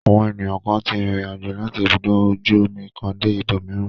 Àwọn ènìyàn kan tí rìnrìn-àjò láti ibùdó ọkọ̀ ojú-omi kan dé ibòmíràn.